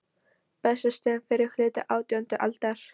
Bessastöðum á fyrri hluta átjándu aldar.